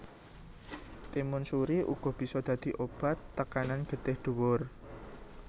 Timun suri uga bisa dadi obat tekanan getih dhuwur